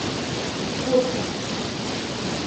фокина